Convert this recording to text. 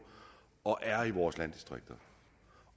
og er i vores landdistrikter